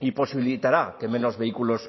y posibilitará que menos vehículos